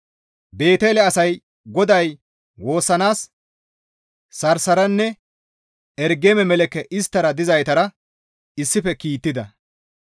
Beetele asay GODAY woossanaas Sarsarenne Ergeme-Meleeke isttara dizaytara issife kiittida.